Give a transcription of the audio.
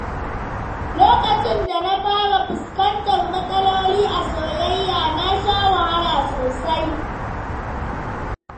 Lokacin da na fara fuskantar matsaloli a soyayya, na sha wahala sosai.